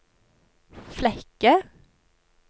Flekke